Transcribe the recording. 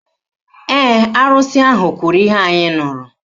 Ee, arụsị ahụ kwuru ihe anyị nụrụ